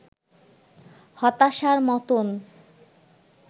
হতাশার মতোন